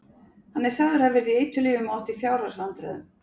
Hann er sagður hafa verið í eiturlyfjum og átt í fjárhagsvandræðum.